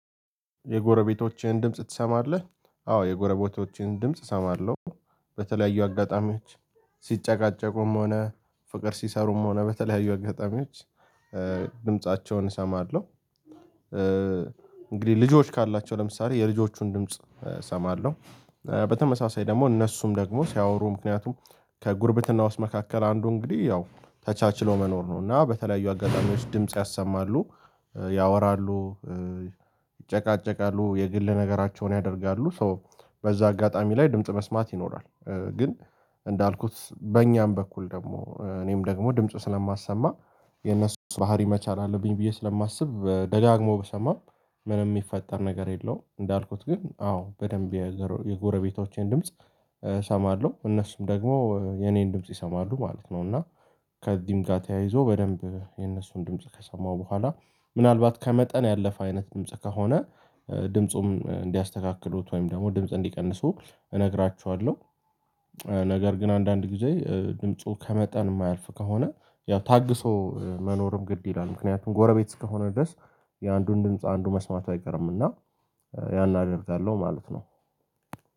የጎረቤቶችህን ድምጽ ትሰማለህ አዎ የጎረቤቶችን ድምጽ እሰማለሁ። በተለያዩ አጋጣሚዎች ሲጨቃጨቁም ሆነ ፍቅር ሲሰሩም ሆነ በተለያዩ አጋጣሚዎች ድምፃቸውን እሰማለሁ። እንግዲህ ልጆች ካላቸው ለምሳሌ የልጆቹን ድምጽ እሰማለሁ። በተመሳሳይ ደግሞ እነሱም ደግሞ ሲያወሩ ምክንያቱም ከጉርብትና ውስጥ መካከል አንዱ እንግዲህ ያው ተቻችሎ መኖር ነው። እና በተለያዩ አጋጣሚዎች ድምጽ ያሰማሉ ያወራሉ ይጨቃጨቃሉ የግል ነገራቸውን ያደርጋሉ ሶ በዛ አጋጣሚ ላይ ድምጽ መስማት ይኖራል። ግን እንዳልኩት በእኛም በኩል ደግሞ እኔም ደግሞ ድምጽ ስለማሰማ የነሱን ባህሪ መቻል አለብኝ ብዬ ስለማስብ ደጋግሞ ብሰማም ምንም የሚፈጠር ነገር የለውም። እንዳልኩት ግን አዎ በደንብ የጎረቤቶቼን ድምጽ እሰማለሁ እነሱም ደግሞ የኔን ድምጽ ይሰማሉ ማለት ነው። እና ከዚህም ጋር ተያይዞ በደንብ የነሱን ድምጽ ከሰማው በኋላ ምናልባት ከመጠን ያለፈ አይነት ድምጽ ከሆነ ድምፁም እንዲያስተካክሉት ወይም ደግሞ ድምጽ እንዲቀንሱ እነግራቸኋለሁ። ነገር ግን አንዳንድ ጊዜ ድምፁ ከመጠን የማያልፍ ከሆነ ያው ታግሶ መኖርም ግድ ይላል። ምክንያቱም ጎረቤት ከሆነ ድረስ የአንዱን ድምጽ አንዱ መስማቱ አይቀርም እና ያን አደርጋለሁ ማለት ነው።